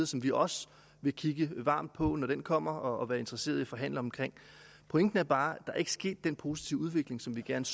som vi også vil kigge varmt på når den kommer og være interesseret i at forhandle om pointen er bare at der ikke er sket den positive udvikling som vi gerne